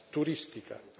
turistica.